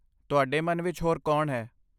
ਤੁਹਾਡੇ ਮਨ ਵਿੱਚ ਹੋਰ ਕੌਣ ਹੈ?